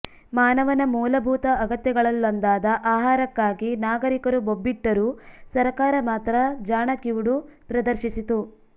ಮಾನವನ ಮೂಲಭೂತ ಅಗತ್ಯಗಳಲ್ಲೊಂದಾದ ಆಹಾರಕ್ಕಾಗಿ ನಾಗರಿಕರು ಬೊಬ್ಬಿಟ್ಟರೂ ಸರಕಾರ ಮಾತ್ರ ಜಾಣ ಕಿವುಡು ಪ್ರದರ್ಶಿಸಿತು